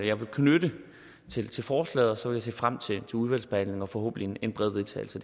jeg vil knytte til forslaget og så vil se frem til udvalgsbehandlingen og forhåbentlig en bred vedtagelse